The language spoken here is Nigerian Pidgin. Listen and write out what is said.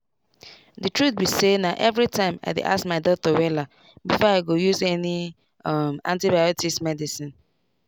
the truth be sayna everytime i dey ask my doctor wella before i go use any um antibiotics medicine.